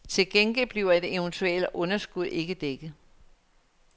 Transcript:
Til gengæld bliver et eventuelt underskud ikke dækket.